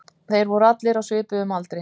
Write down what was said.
Þeir voru allir á svipuðum aldri